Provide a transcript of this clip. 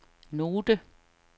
note